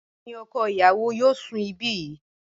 Bẹẹni ọkọ ìyàwó yóò sùn ibi yìí